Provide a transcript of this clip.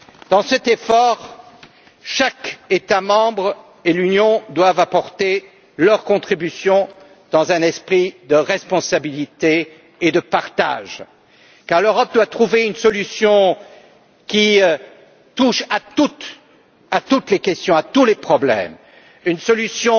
Dans cet effort, chaque État membre et l'Union doivent apporter leur contribution dans un esprit de responsabilité et de partage car l'Europe doit trouver une solution qui touche à toutes les questions et à tous les problèmes, une solution